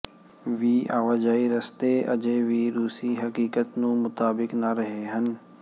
ਵੀ ਆਵਾਜਾਈ ਰਸਤੇ ਅਜੇ ਵੀ ਰੂਸੀ ਹਕੀਕਤ ਨੂੰ ਮੁਤਾਬਿਕ ਨਾ ਰਹੇ ਹਨ